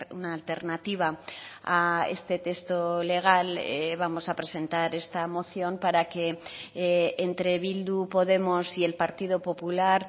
una alternativa a este texto legal vamos a presentar esta moción para que entre bildu podemos y el partido popular